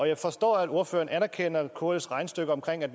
jeg forstår at ordføreren anerkender kls regnestykke om at